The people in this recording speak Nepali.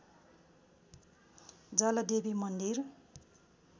जलदेवी मन्दिर